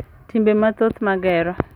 Timbe mathoth ma gero.